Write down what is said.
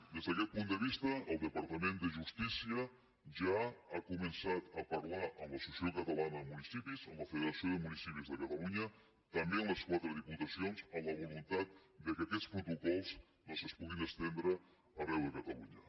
des d’aquest punt de vista el departament de justícia ja ha començat a parlar amb l’associació catalana de municipis amb la federació de municipis de catalunya també amb les quatre diputacions amb la voluntat que aquests protocols doncs es puguin estendre arreu de catalunya